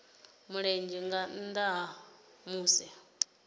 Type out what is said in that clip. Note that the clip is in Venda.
mulenzhe nga nnda ha musi